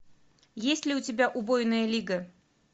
есть ли у тебя убойная лига